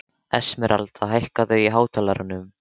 Esmeralda, hækkaðu í hátalaranum.